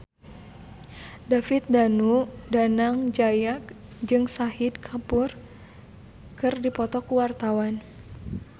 David Danu Danangjaya jeung Shahid Kapoor keur dipoto ku wartawan